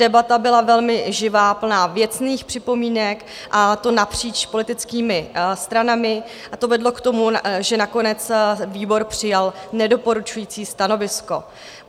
Debata byla velmi živá, plná věcných připomínek, a to napříč politickými stranami, a to vedlo k tomu, že nakonec výbor přijal nedoporučující stanovisko.